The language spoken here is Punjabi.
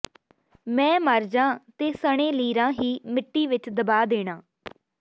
ਮੈਂ ਮਰਜਾਂ ਤੇ ਸਣੇ ਲੀਰਾਂ ਹੀ ਮਿੱਟੀ ਵਿਚ ਦਬਾ ਦੇਣਾ